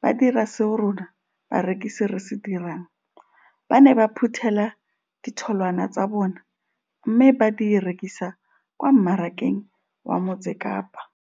ba dira seo rona barekisi re se dirang, ba ne ba phuthela ditholwana tsa bona mme ba di rekisa kwa marakeng wa Motsekapa.